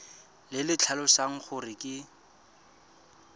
le le tlhalosang gore ke